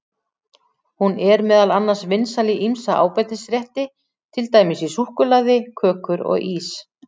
Hún er meðal annars vinsæl í ýmsa ábætisrétti, til dæmis í súkkulaði, kökur og ís.